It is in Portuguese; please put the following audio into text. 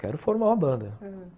Quero formar uma banda, ãh